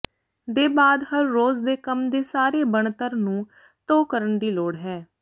ਦੇ ਬਾਅਦ ਹਰ ਰੋਜ਼ ਦੇ ਕੰਮ ਦੇ ਸਾਰੇ ਬਣਤਰ ਨੂੰ ਧੋ ਕਰਨ ਦੀ ਲੋੜ ਹੈ